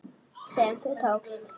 sem þú tókst.